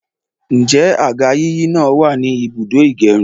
Ǹjẹ́ àga yíyí náà wàní ibùdó ìgẹrun?